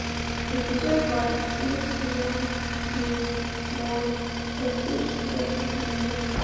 эпизод двадцать семь сезон девять может я встречу тебя в подземелье